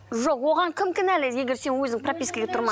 жоқ оған кім кінәлі егер сен өзің пропискаға